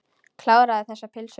Kláraðu þessa pylsu.